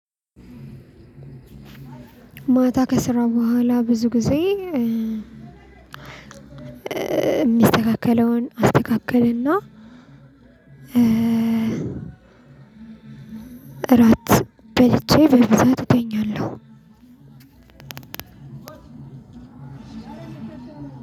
ማታ ከሰራ በኋላ ብዙ ጊዜ የሚስተካከልውን አስተካክልና። እራት በልቼ በብዛት እተኛለሁ።